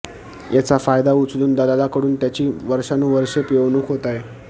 याचा फायदा उचलून दलालांकडून त्यांची वर्षानुवष्रे पिळवणूक होत आहे